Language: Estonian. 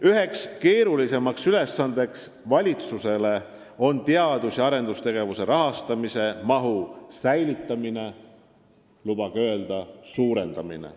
Üks keerulisimaid valitsuse ülesandeid on teadus- ja arendustegevuse rahastamise mahu säilitamine ja, lubage öelda, suurendamine.